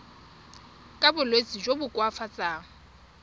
ka bolwetsi jo bo koafatsang